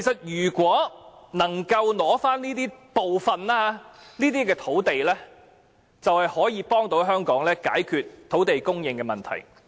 如果能夠取回部分土地，就可以幫助香港解決土地供應的問題。